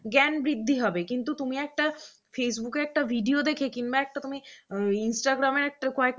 জ্ঞান বৃদ্ধি হবে কিন্তু তুমি একটা facebook একটা video দেখে কিংবা একটা তুমি instagram এর কয়েক